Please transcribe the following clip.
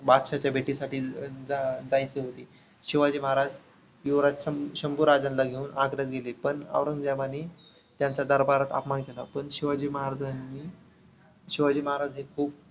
बादशहाच्या भेटीसाठी जा जायचे होते. शिवाजी महाराज युवराज शंभू शंभूराजांना घेऊन आगऱ्याला गेले. पण औरंगजेबाने त्यांचा दरबारात अपमान केला. पण शिवाजी महाराजांनी शिवाजी महाराज हे खूप